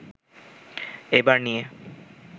এবার নিয়ে